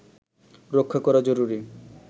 রক্ষা করা জরুরি